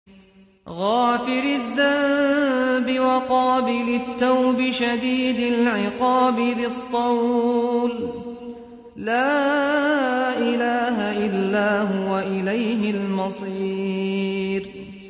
غَافِرِ الذَّنبِ وَقَابِلِ التَّوْبِ شَدِيدِ الْعِقَابِ ذِي الطَّوْلِ ۖ لَا إِلَٰهَ إِلَّا هُوَ ۖ إِلَيْهِ الْمَصِيرُ